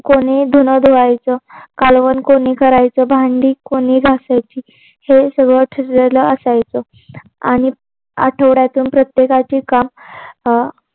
कोणी धून धुवायच. कालवण कोणी करायचं. भांडी कोणी घासायची. हे सगळं ठरलेलं असायचं. आणि आठवड्यातून प्रत्येकाचे काम